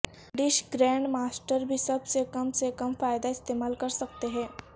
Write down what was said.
Dutch grand master بھی سب سے کم سے کم فائدہ استعمال کر سکتے ہیں